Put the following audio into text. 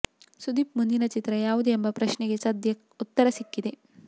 ಸುದೀಪ್ ಮುಂದಿನ ಚಿತ್ರ ಯಾವುದು ಎಂಬ ಪ್ರಶ್ನೆಗೆ ಸದ್ಯ ಉತ್ತರ ಸಿಕ್ಕಿದೆ